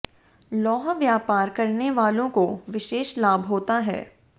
लौह व्यापार करने वालों को विशेष लाभ होता है